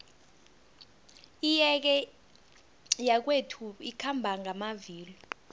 iyege yakwethu ikhamba ngamavilo